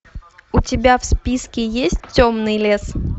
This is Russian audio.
у тебя в списке есть темный лес